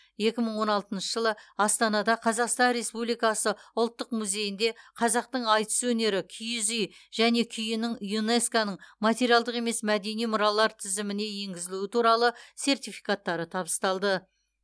екі мың он алтыншы жылы астанада қазақстан республикасы ұлттық музейінде қазақтың айтыс өнері киіз үй және күйінің юнеско ның материалдық емес мәдени мұралар тізіміне енгізілуі туралы сертификаттары табысталды